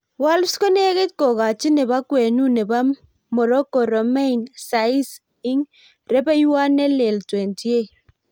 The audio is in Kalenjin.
Wolves konegit kokachi nebo kwenu nebo Morocco Romain Saiss ing' rebeiwot ne lel, 28.